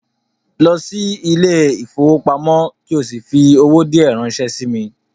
Go to the bank and send me some money